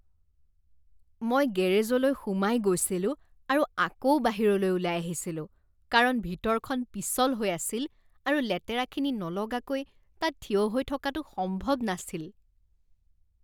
মই গেৰেজলৈ সোমাই গৈছিলোঁ আৰু আকৌ বাহিৰলৈ ওলাই আহিছিলোঁ কাৰণ ভিতৰখন পিছল হৈ আছিল আৰু লেতেৰাখিনি নলগাকৈ তাত থিয় হৈ থকাটো সম্ভৱ নাছিল।